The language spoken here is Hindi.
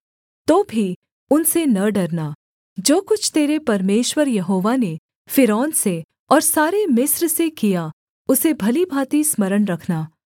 तो भी उनसे न डरना जो कुछ तेरे परमेश्वर यहोवा ने फ़िरौन से और सारे मिस्र से किया उसे भली भाँति स्मरण रखना